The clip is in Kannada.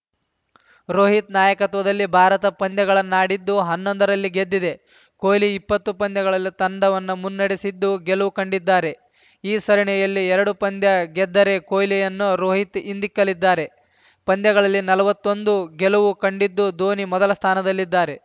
ರೋಹಿತ್‌ ನಾಯಕತ್ವದಲ್ಲಿ ಭಾರತ ಪಂದ್ಯಗಳನ್ನಾಡಿದ್ದು ಹನ್ನೊಂದರಲ್ಲಿ ಗೆದ್ದಿದೆ ಕೊಹ್ಲಿ ಇಪ್ಪತ್ತು ಪಂದ್ಯಗಳಲ್ಲಿ ತಂಡವನ್ನು ಮುನ್ನಡೆಸಿದ್ದು ಗೆಲುವು ಕಂಡಿದ್ದಾರೆ ಈ ಸರಣಿಯಲ್ಲಿ ಎರಡು ಪಂದ್ಯ ಗೆದ್ದರೆ ಕೊಹ್ಲಿಯನ್ನು ರೋಹಿತ್‌ ಹಿಂದಿಕ್ಕಲಿದ್ದಾರೆ ಪಂದ್ಯಗಳಲ್ಲಿ ನಲ್ವತ್ತೊಂದು ಗೆಲುವು ಕಂಡಿದ್ದು ಧೋನಿ ಮೊದಲ ಸ್ಥಾನದಲ್ಲಿದ್ದಾರೆ